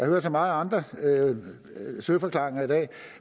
hørt så mange andre søforklaringer i dag